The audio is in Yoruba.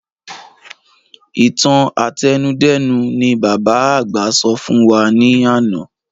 Ìtàn àtẹnudẹ́nu ni bàbá àgbà sọ fún wa ní àná